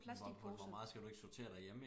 Hvor hvor meget skal du ikke sortere derhjemme